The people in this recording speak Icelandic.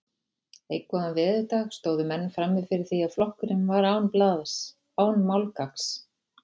Einn góðan veðurdag stóðu menn frammi fyrir því að flokkurinn var án blaðs, án málgagns.